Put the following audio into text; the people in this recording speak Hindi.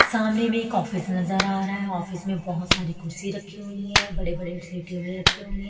सामने में एक ऑफिस नजर आ रहा है ऑफिस में बहुत सारी कुर्सी रखी हुई है बड़े-बड़े से टेबल रखे हुए हैं।